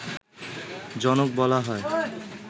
জনক বলা হয়